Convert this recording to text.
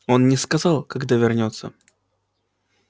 он не сказал когда вернётся